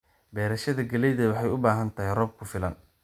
Beerashada galleyda waxay u baahan tahay roob ku filan.